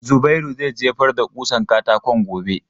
Zubairu zai jefar da ƙusan katakon gobe.